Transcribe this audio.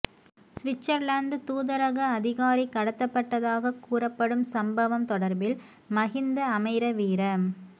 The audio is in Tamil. சுவிட்சர்லாந்து தூதரக அதிகாரி கடத்தப்பட்டதாக கூறப்படும் சம்பவம் தொடர்பில் மஹிந்த அமைரவீர